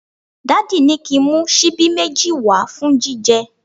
Daddy ni ki n mu sibi meji wa fun jije